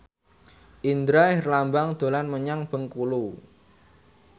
Indra Herlambang dolan menyang Bengkulu